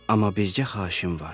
Amma bircə xahişim var.